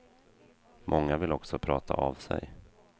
Många vill också prata av sig.